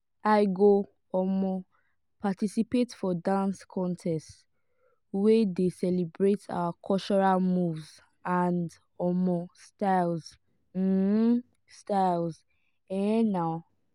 i go um participate for dance contest wey dey celebrate our cultural moves and um styles. um styles. um